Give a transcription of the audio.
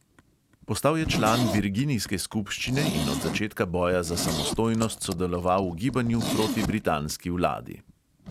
Postal je član virginijske skupščine in od začetka boja za samostojnost sodeloval v gibanju proti britanski vladi.